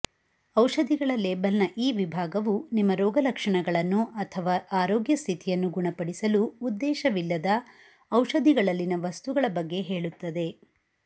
ಔಷಧಿಗಳ ಲೇಬಲ್ನ ಈ ವಿಭಾಗವು ನಿಮ್ಮ ರೋಗಲಕ್ಷಣಗಳನ್ನು ಅಥವಾ ಆರೋಗ್ಯ ಸ್ಥಿತಿಯನ್ನು ಗುಣಪಡಿಸಲು ಉದ್ದೇಶವಿಲ್ಲದ ಔಷಧಿಗಳಲ್ಲಿನ ವಸ್ತುಗಳ ಬಗ್ಗೆ ಹೇಳುತ್ತದೆ